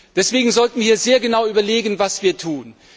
Deswegen sollten wir sehr genau überlegen, was wir tun.